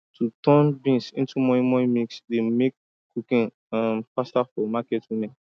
to turn beans into moi moi mix dey make cooking faster for um market women